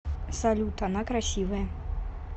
салют она красивая